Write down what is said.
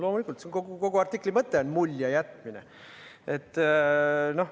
Loomulikult, kogu artikli mõte on mulje jätmine.